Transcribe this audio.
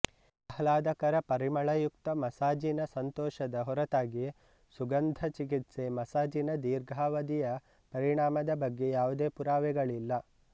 ಆಹ್ಲಾದಕರ ಪರಿಮಳಯುಕ್ತ ಮಸಾಜಿನ ಸಂತೋಷದ ಹೊರತಾಗಿ ಸುಗಂಧ ಚಿಕಿತ್ಸೆ ಮಸಾಜಿನ ದೀರ್ಘಾವದಿಯ ಪರಿಣಾಮದ ಬಗ್ಗೆ ಯಾವುದೇ ಪುರಾವೆಗಳಿಲ್ಲ